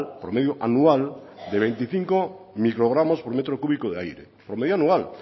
promedio anual de veinticinco microgramos por metro cúbico de aire por media anual